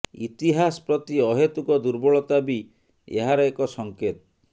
ଇତିହାସ ପ୍ରତି ଅହେତୁକ ଦୁର୍ବଳତା ବି ଏହାର ଏକ ସଂକେତ